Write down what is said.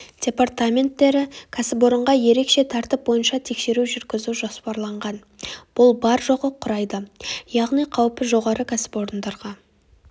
департаменттері кәсіпорынға ерекше тәртіп бойынша тексеру жүргізу жоспарланған бұл бар-жоғы құрайды яғни қауіпі жоғары кәсіпорындарға